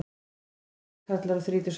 Þetta voru tveir karlar á þrítugsaldri